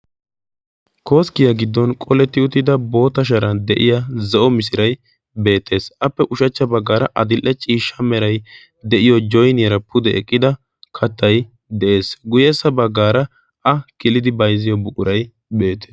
koskkiyaa giddon qoletti uttida boota sharan de7iya zo7o misirai beettees appe ushachcha baggaara adil7e ciishsha merai de7iyo joiniyaara pude eqqida kattai de7ees guyyessa baggaara a kilidi baizziyo buqurai beette